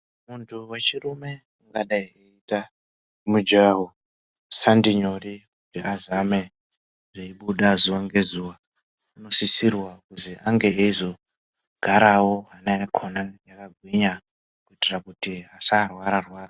Muntu wechirume akaita mujaho sandi nyore kuti azame zveibuda zuwa ngezuwa anosisirwa kuzi ange eizogarawo hana yakona yakagwinya kuitira kuti asarwara rwara.